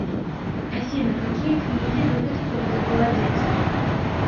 афина какие книги любит ольга голодец